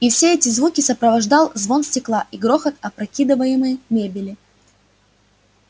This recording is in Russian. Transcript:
и все эти звуки сопровождал звон стекла и грохот опрокидываемой мебели